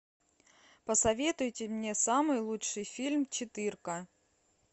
посоветуйте мне самый лучший фильм четырка